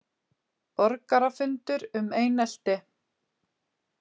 Borgarafundur um einelti